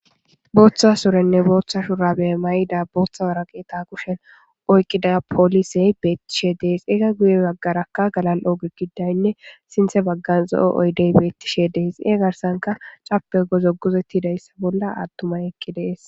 Booththa surenne booththa shurabe may'ida booththa waraqeeta kushen oyqqida poolisey beettishe dees ega guye waggarakka galal'ooge gidaynne sinthe baggan zo'o oydey beettishe dees ie garsanka cappe go zoguzettidayssa bolla aattumay ekki dees.